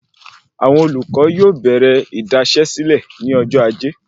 Àwọn olùkọ yóò bèrè idasesile ní ọjọ ajé